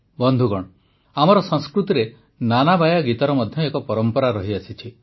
ବନ୍ଧୁଗଣ ଆମର ସଂସ୍କୃତିରେ ନାନାବାୟା ଗୀତର ମଧ୍ୟ ଏକ ପରମ୍ପରା ରହିଛି